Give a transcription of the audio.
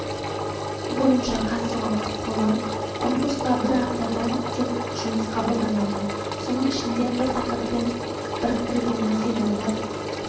бойынша қатысуға құқылы конкурсқа бір автордан тек жұмыс қабылданады соның ішінде бір тақырыппен біріктірілген материалдар